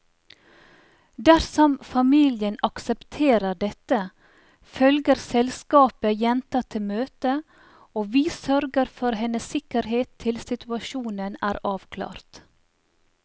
Dersom familien aksepterer dette, følger selskapet jenta til møtet, og vi sørger for hennes sikkerhet til situasjonen er avklart.